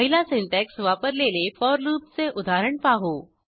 पहिला सिंटॅक्स वापरलेले फोर लूपचे उदाहरण पाहू